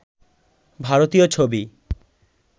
ভারতীয় ছবি